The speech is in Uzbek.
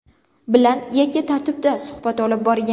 bilan yakka tartibda suhbat olib borgan.